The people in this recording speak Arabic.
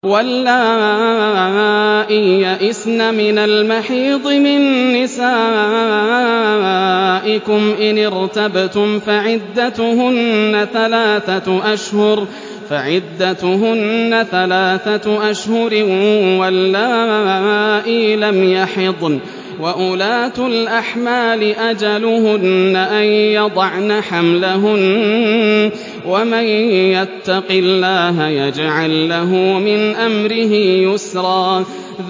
وَاللَّائِي يَئِسْنَ مِنَ الْمَحِيضِ مِن نِّسَائِكُمْ إِنِ ارْتَبْتُمْ فَعِدَّتُهُنَّ ثَلَاثَةُ أَشْهُرٍ وَاللَّائِي لَمْ يَحِضْنَ ۚ وَأُولَاتُ الْأَحْمَالِ أَجَلُهُنَّ أَن يَضَعْنَ حَمْلَهُنَّ ۚ وَمَن يَتَّقِ اللَّهَ يَجْعَل لَّهُ مِنْ أَمْرِهِ يُسْرًا